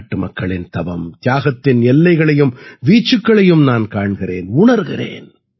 நாட்டுமக்களின் தவம்தியாகத்தின் எல்லைகளையும் வீச்சுக்களையும் நான் காண்கிறேன் உணர்கிறேன்